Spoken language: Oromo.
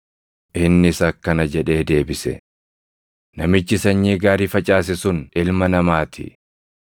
Innis akkana jedhee deebise; “Namichi sanyii gaarii facaase sun Ilma Namaa ti.